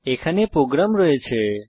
এখানে আমাদের প্রোগ্রাম রয়েছে